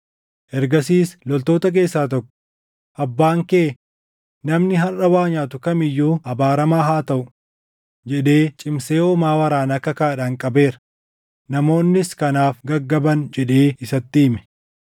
Ergasiis loltoota keessaa tokko, “Abbaan kee, ‘Namni harʼa waa nyaatu kam iyyuu abaaramaa haa taʼu!’ jedhee cimsee hoomaa waraanaa kakaadhaan qabeera; namoonnis kanaaf gaggaban” jedhee isatti hime.